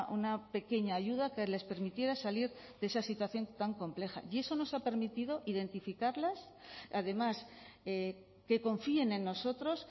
una pequeña ayuda que les permitiera salir de esa situación tan compleja y eso nos ha permitido identificarlas además que confíen en nosotros